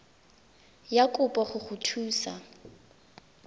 ya kopo go go thusa